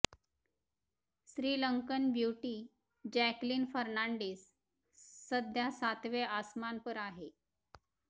Sri Lankan beauty Jacqueline Fernandez सध्या सातवे आसमान पर आहे